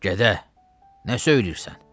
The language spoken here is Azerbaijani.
Gədə, nə söyləyirsən?